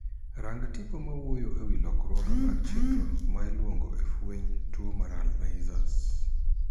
Rang tipo mawuoyo e wii lokruoge mag chenro ma iluwo e fwenyo tuo mar Alzheimer.